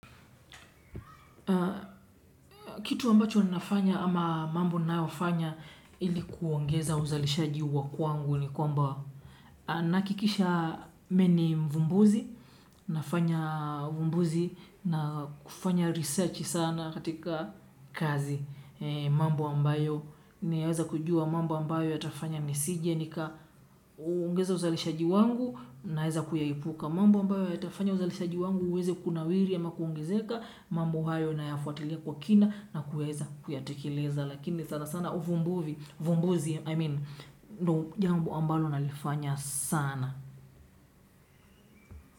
Kitu ambacho ninafanya ama mambo ninayofanya ili kuongeza uzalishaji wa kwangu ni kwamba nahakikisha mi ni mvumbuzi, nafanya uvumbuzi na kufanya research sana katika kazi mambo ambayo. Niweze kujua mambo ambayo yatafanya nisije nika uongeza uzalishaji wangu naeza kuyaepuka. Mambo ambayo yatafanya uzalishaji wangu uweze kunawiri ama kuongezeka, mambo hayo nayafuatilia kwa kina na kuweza kuyatekeleza. Lakini sana sana uvumbuvi, uvumbuzi, I mean, ndio jambo ambalo nalifanya sana.